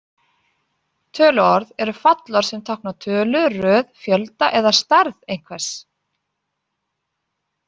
Töluorð eru fallorð sem tákna tölu, röð, fjölda eða stærð einhvers.